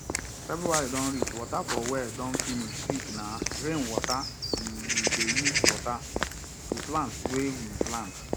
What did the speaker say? february don reach water for well don finish quickna rain water um we dey use water the plants wey we plant